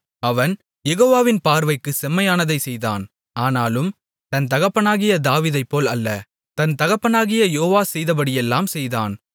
அவன் யெகோவாவின் பார்வைக்குச் செம்மையானதைச் செய்தான் ஆனாலும் தன் தகப்பனாகிய தாவீதைப்போல் அல்ல தன் தகப்பனாகிய யோவாஸ் செய்தபடியெல்லாம் செய்தான்